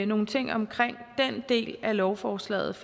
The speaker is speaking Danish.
nogle ting omkring den del af lovforslaget